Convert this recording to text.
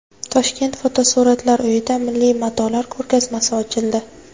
Toshkent Fotosuratlar uyida milliy matolar ko‘rgazmasi ochildi.